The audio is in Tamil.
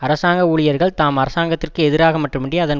அரசாங்க ஊழியர்கள் தாம் அரசாங்கத்திற்கு எதிராக மட்டுமன்றி அதன்